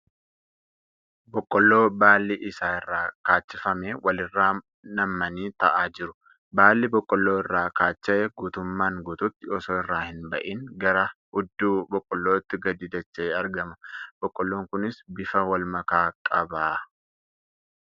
Boqqolloo baalli isaa irraa kaachifame wal irra nammanii taa'aa jiru . Baallii boqqoolloo irraa kaacha'e guutummaan guututti osoo irraa hin ba'in gara hudduu boqqoollootti gadi dacha'ee argama. Boqqoolloon kunis bifa walmakaa qaba .